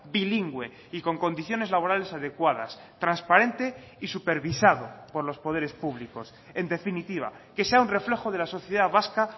bilingüe y con condiciones laborales adecuadas transparente y supervisado por los poderes públicos en definitiva que sea un reflejo de la sociedad vasca